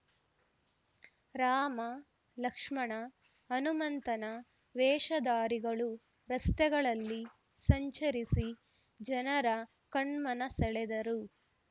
ರಾಮ ಲಕ್ಷ್ಮಣ ಹನುಮಂತನ ವೇಷಧಾರಿಗಳು ರಸ್ತೆಗಳಲ್ಲಿ ಸಂಚರಿಸಿ ಜನರ ಕಣ್ಮನ ಸೆಳೆದರು